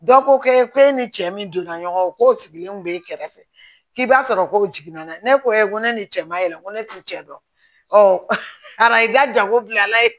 Dɔ ko e k'e ni cɛ min donna ɲɔgɔn kɔ k'o sigilenw b'e kɛrɛfɛ k'i b'a sɔrɔ kow jiginna ne ko ne ni cɛ ma yɛlɛ ko ne t'u cɛ dɔn araji ka jan ko bilala